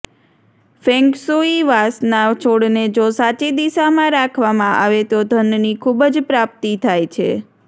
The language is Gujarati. ફેંક્ષુઈ વાંસના છોડને જો સાચી દિશામાં રાખવામાં આવે તો ધનની ખુબ જ પ્રાપ્તિ થાય છે